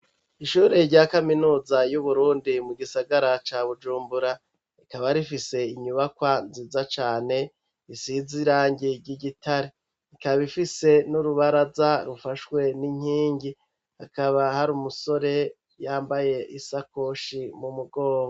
Ishure rya kaminuza y'uburundi mu gisagara ca bujumbura rikaba rifise inyubakwa nziza cane isize irangi ry'igitare rikaba ifise n'urubaraza rufashwe n'inkingi akaba hari umusore yambaye isakoshi mu mugogo.